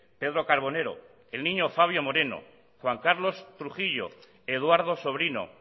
pedro carbonero el niño fabio moreno juan carlos trujillo eduardo sobrino